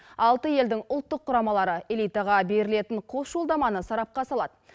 алты елдің ұлттық құрамалары элитаға берілетін қос жолдаманы сарапқа салады